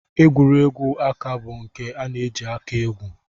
Egwuregwu aka bụ nke a na-eji aka egwu